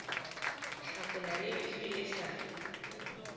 hlakola le efe e sa